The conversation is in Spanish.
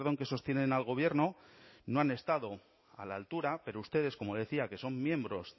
que sostienen al gobierno no han estado a la altura pero ustedes como decía que son miembros